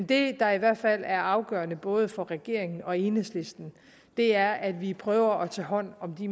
det der i hvert fald er afgørende for både regeringen og enhedslisten er at vi prøver at tage hånd om de